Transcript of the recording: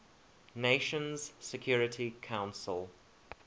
nations security council